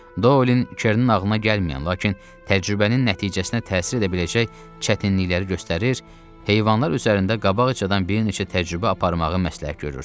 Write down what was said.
Doylin Kernin ağlına gəlməyən, lakin təcrübənin nəticəsinə təsir edə biləcək çətinlikləri göstərir, heyvanlar üzərində qabaqcadan bir neçə təcrübə aparmağı məsləhət görürdü.